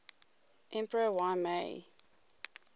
emperor y mei